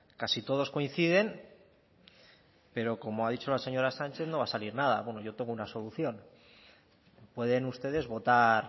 casi todos coinciden pero como ha dicho la señora sánchez no va a salir nada yo tengo una solución pueden ustedes votar